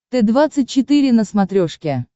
т двадцать четыре на смотрешке